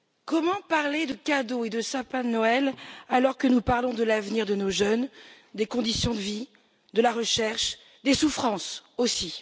Comment parler de cadeaux et de sapins de Noël, alors que nous parlons de l'avenir de nos jeunes, des conditions de vie, de la recherche et des souffrances aussi.